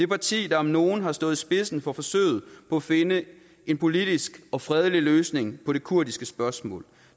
parti der om nogen har stået i spidsen for forsøget på at finde en politisk og fredelig løsning på det kurdiske spørgsmål